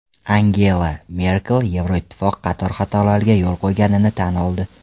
Angela Merkel Yevroittifoq qator xatolarga yo‘l qo‘yganini tan oldi.